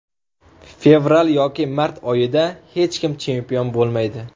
Fevral yoki mart oyida hech kim chempion bo‘lmaydi.